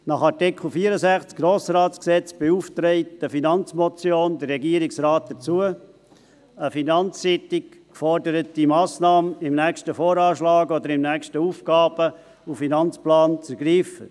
Nach Artikel 64 des Gesetzes über den Grossen Rat (Grossratsgesetz, GRG) beauftragt eine Finanzmotion den Regierungsrat dazu, eine finanzseitig geforderte Massnahme im nächsten VA oder im nächsten AFP zu ergreifen.